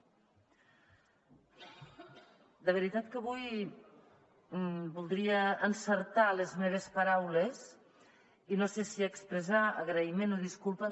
de veritat que avui voldria encertar les meves paraules i no sé si expressar agraïment o disculpa